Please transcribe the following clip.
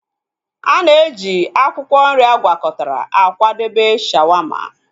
Ana eji akwụkwọ nri agwakọtara akwadebe shawaama